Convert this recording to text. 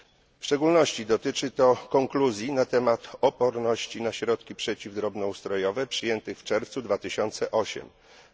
W szczególności dotyczy to konkluzji na temat oporności na środki przeciw drobnoustrojowe przyjętych w czerwcu 2008 r.